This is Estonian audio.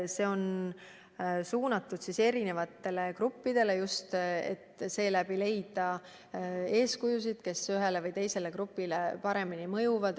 See on suunatud erinevatele gruppidele ja me püüame leida eeskujusid, kes ühele või teisele grupile paremini mõjuvad.